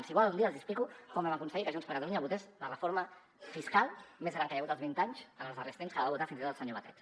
si volen un dia els hi explico com vam aconseguir que junts per catalunya votés la reforma fiscal més gran que hi ha hagut als vint anys en els darrers temps que va votar fins i tot el senyor batet